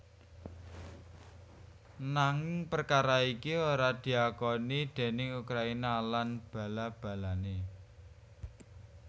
Nanging perkara iki ora diakoni déning Ukraina lan bala balané